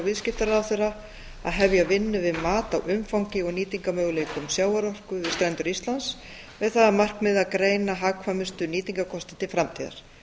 viðskiptaráðherra að hefja vinnu við mat á umfangi og nýtingarmöguleikum sjávarorku við strendur íslands með það að markmiði að greina hagkvæmustu nýtingarkosti til framtíðar